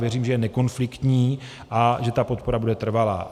Věřím, že je nekonfliktní a že ta podpora bude trvalá.